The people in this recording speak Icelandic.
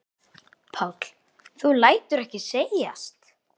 Páll: Þú lætur ekki segjast?